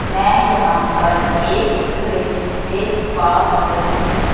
मैं यहां पर एक फ्रिज देख पा रही हूं।